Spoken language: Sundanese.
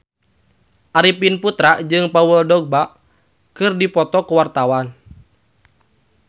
Arifin Putra jeung Paul Dogba keur dipoto ku wartawan